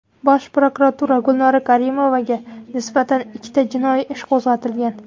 Bosh prokuratura: Gulnora Karimovaga nisbatan ikkita jinoyat ishi qo‘zg‘atilgan.